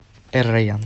эр райян